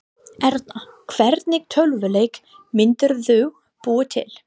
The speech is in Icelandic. Erla: Hvernig tölvuleik myndirðu búa til?